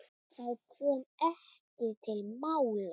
Það kom ekki til mála.